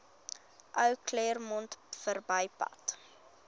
ou claremont verbypad